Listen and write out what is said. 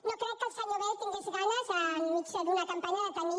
no crec que el senyor bel tingués ganes enmig d’una campanya de tenir